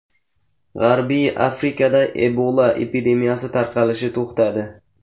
G‘arbiy Afrikada Ebola epidemiyasi tarqalishi to‘xtadi.